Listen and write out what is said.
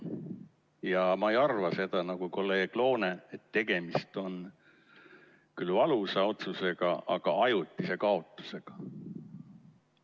Ja ma ei arva seda, nagu kolleeg Loone, et tegemist on küll valusa otsusega, aga ajutise kaotusega.